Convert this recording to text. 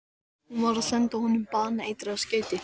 Hún var að senda honum baneitrað skeyti.